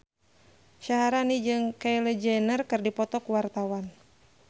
Syaharani jeung Kylie Jenner keur dipoto ku wartawan